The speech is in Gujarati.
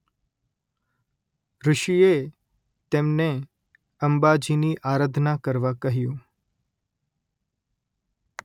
ઋષિએ તેમને અંબાજીની આરાધના કરવા કહ્યું